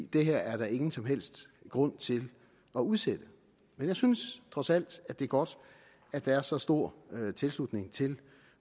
det her er der ingen som helst grund til at udsætte men jeg synes trods alt det er godt at der er så stor tilslutning til